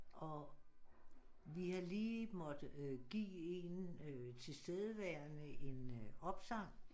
Og vi har lige måtte give en tilstedeværende en opsang